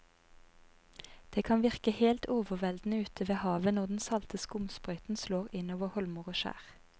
Det kan virke helt overveldende ute ved havet når den salte skumsprøyten slår innover holmer og skjær.